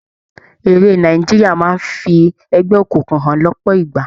Eré Nàìjíríà máa ń fi ẹgbẹ́ òkùnkùn hàn lọ́pọ̀ ìgbà.